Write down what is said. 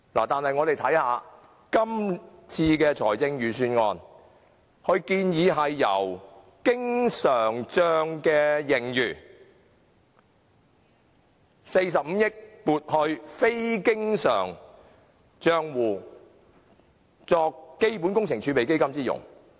但是，今次的財政預算案建議把經常帳的45億元盈餘撥入非經常帳戶，以作為基本工程儲備基金之用。